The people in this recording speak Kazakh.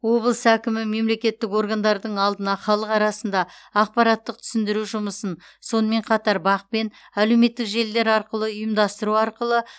облыс әкімі мемлекеттік органдардың алдына халық арасында ақпараттық түсіндіру жұмысын сонымен қатар бақ пен әлеуметтік желілер арқылы ұйымдастыру арқылы